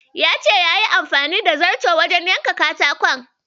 Ya ce yayi amfani da zarto wajen yanka katakon.